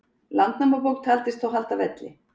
landnámabók taldist þó halda velli